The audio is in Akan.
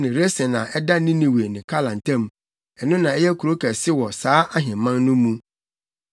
Resen a ɛda Ninewe ne Kala ntam; ɛno na ɛyɛ kurow kɛse wɔ saa ahemman no mu.